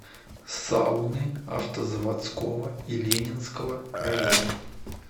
сауны автозаводского и ленинского района